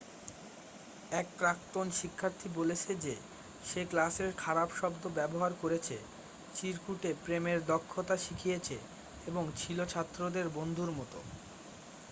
এক প্রাক্তন শিক্ষার্থী বলেছে যে সে 'ক্লাসে খারাপ শব্দ ব্যবহার করেছে চিরকুটে প্রেমের দক্ষতা শিখিয়েছে এবং ছিল ছাত্রদের বন্ধুর মত।'